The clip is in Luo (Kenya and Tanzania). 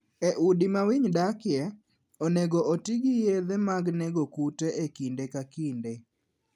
E udi ma winy dakie, onego oti gi yedhe mag nego kute e kinde ka kinde.